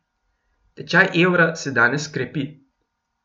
Tečaj evra se danes krepi.